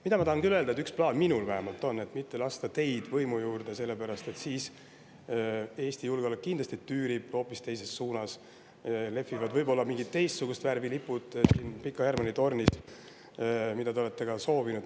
Ma tahan aga küll öelda, et üks plaan minul vähemalt on: mitte lasta teid võimu juurde, sest siis tüürib Eesti julgeolek kindlasti hoopis teises suunas ja siis lehvivad võib-olla mingit teist värvi lipud siin Pika Hermanni tornis, nagu te olete ka soovinud.